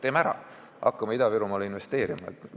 Teeme ära, hakkame Ida-Virumaale investeerima!